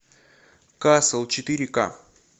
касл четыре ка